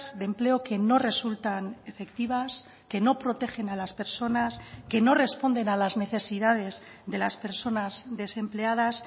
de empleo que no resultan efectivas que no protegen a las personas que no responden a las necesidades de las personas desempleadas